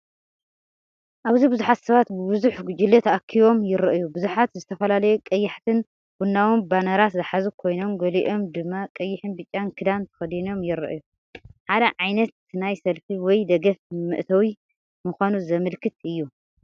ኣብዚ ብዙሓት ሰባት ብብዙሕ ጉጅለ ተኣኪቦም ይረኣዩ። ብዙሓት ዝተፈላለዩ ቀያሕትን ቡናውን ባነራት ዝሓዙ ኮይኖም፡ ገሊኦም ድማ ቀይሕን ብጫን ክዳን ተኸዲኖም ይረኣዩ። ሓደ ዓይነት ናይ ሰልፊ ወይ ደገፍ መእተዊ ምዃኑ ዘመልክት እዩ።